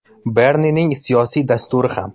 Bernining siyosiy dasturi ham.